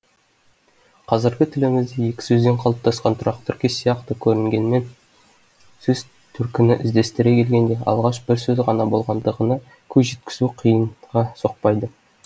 қазіргі тілімізде екі сөзден қалыптасқан тұрақты тіркес сияқты көрінгенмен сөз төркінін іздестіре келгенде алғаш бір сөз ғана болғандығына көз жеткізу қиынға соқпайды